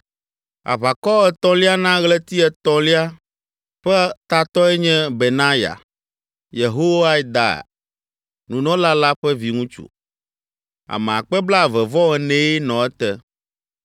Aʋakɔ etɔ̃lia na ɣleti etɔ̃lia ƒe tatɔe nye Benaya, Yehoiada, Nunɔla la ƒe viŋutsu. Ame akpe blaeve-vɔ-enee (24,000) nɔ ete.